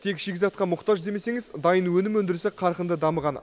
тек шикізатқа мұқтаж демесеңіз дайын өнім өндірісі қарқынды дамыған